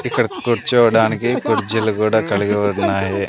ఇక్కడ కూర్చోడానికి కుర్చీలు కూడా కలిగి ఉన్నాయి.